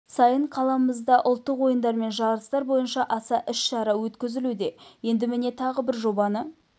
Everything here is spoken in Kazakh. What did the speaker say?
сайын қаламызда ұлттық ойындар мен жарыстар бойынша аса іс-шара өткізілуде енді міне тағы бір жобаны